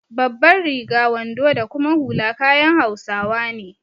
Babbar riga, wando da kuma hula kayan hausawa ne.